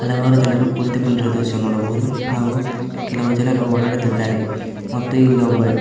ಹಲವಾರು ಜನರು ಕುಳಿತುಕೊಂಡಿರುವ ದೃಶ್ಯ ನೋಡಬಹುದು ಹಾಗು ಕೆಲವು ಜನರು ಓಡಾಡುತ್ತಿದ್ದಾರೆ ಮತ್ತು ಇಲ್ಲಿ ಒಬ್ಬ--